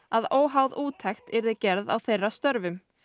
að óháð úttekt yrði gerð á þeirra störfum